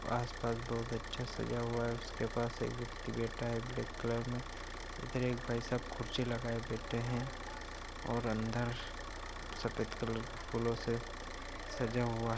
आस-पास बहोत अच्छा सजा हुआ है उसके पास एक व्यक्ति बैठा है ब्लैक कलर में इधर एक भाई साहब खुर्शी लगाये बैठे हैं और अंदर सफ़ेद कलर फूलो से सजा हुआ --